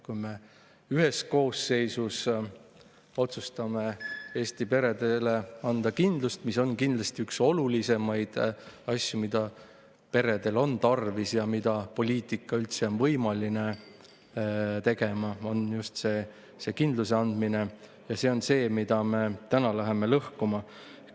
Kui me koosseisus otsustasime Eesti peredele anda kindlust – see on kindlasti üks olulisemaid asju, mida peredel on tarvis, just see kindluse andmine on see, mida poliitika üldse on võimalik teha –, siis täna me läheme seda lõhkuma.